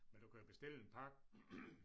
Men du kan jo bestille en pakke